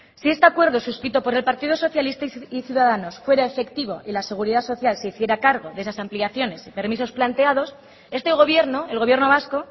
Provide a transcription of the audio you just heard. si este acuerdo suscrito por el partido socialista y ciudadanos fuera efectivo y la seguridad social se hiciera cargo de esas ampliaciones y permisos planteados este gobierno el gobierno vasco